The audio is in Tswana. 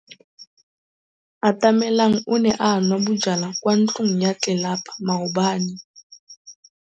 Atamelang o ne a nwa bojwala kwa ntlong ya tlelapa maobane.